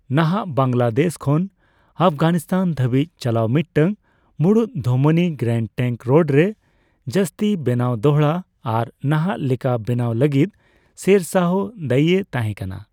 ᱱᱟᱦᱟᱜ ᱵᱟᱝᱞᱟᱫᱮᱥ ᱠᱷᱚᱱ ᱟᱯᱷᱜᱟᱱᱤᱥᱛᱟᱱ ᱫᱷᱟᱹᱵᱤᱡ ᱪᱟᱞᱟᱣ ᱢᱤᱫᱴᱟᱝ ᱢᱩᱲᱩᱫ ᱫᱷᱚᱢᱱᱤ, ᱜᱮᱨᱟᱱᱰ ᱴᱮᱝᱠ ᱨᱳᱰ ᱨᱮ ᱡᱟᱹᱥᱛᱤ ᱵᱮᱱᱟᱣ ᱫᱚᱦᱲᱟ ᱟᱨ ᱱᱟᱦᱟᱜ ᱞᱮᱠᱟ ᱵᱮᱱᱟᱣ ᱞᱟᱹᱜᱤᱫ ᱥᱮᱨ ᱥᱟᱦᱚ ᱫᱟᱹᱭᱤᱭ ᱛᱟᱦᱮᱸᱠᱟᱱᱟ ᱾